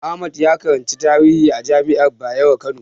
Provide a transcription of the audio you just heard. Ahmad ya karanci tarihi a jami'ar Bayero Kano.